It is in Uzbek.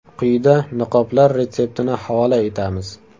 Quyida niqoblar retseptini havola etamiz.